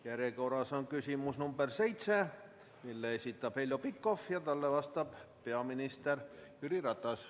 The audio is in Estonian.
Järjekorras on küsimus nr 7, mille esitab Heljo Pikhof ja talle vastab peaminister Jüri Ratas.